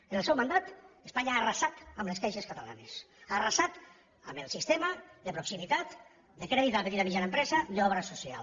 en el seu mandat espanya ha arrasat amb les caixes catalanes ha arrasat amb el sistema de proximitat de crèdit a la petita i mitjana empresa d’obra social